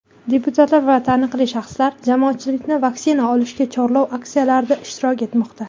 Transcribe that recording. deputatlar va taniqli shaxslar jamoatchilikni vaksina olishga chorlov aksiyalarida ishtirok etmoqda.